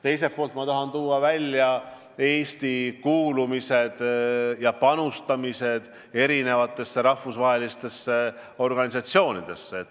Teiselt poolt tahan ma tuua välja Eesti kuulumise ja panustamise rahvusvahelistesse organisatsioonidesse.